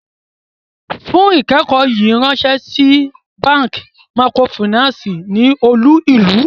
Fún ikẹkọ̀ yíì ránsẹ̀ sí bankí màkrófínànsí ní olú-ìlú!